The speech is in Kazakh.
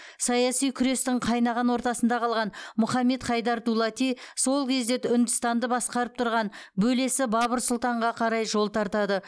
саяси күрестің қайнаған ортасында қалған мұхаммед хайдар дулати сол кезде үндістанды басқарып тұрған бөлесі бабыр сұлтанға қарай жол тартады